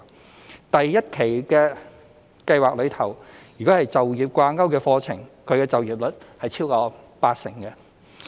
在第一期計劃中，就業掛鈎課程畢業學員的就業率超過八成。